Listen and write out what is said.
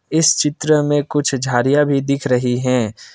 इस चित्र में कुछ झाडियाँ भी दिख रही हैं।